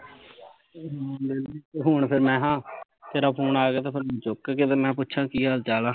ਹੁਣ ਫੇਰ ਮੈਂ ਕਿਹਾ ਤੇਰਾ ਫੁਨ ਆ ਗਿਆ ਤੇ ਚੁੱਕ ਕੇ ਤੇ ਮੈਂ ਕਿਹਾ ਪੁੱਛਾਂ ਕੀ ਹਾਲ ਚਾਲ ਆ